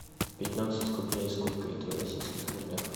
пятнадцать рублей сколько это в российских рублях